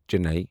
Chennai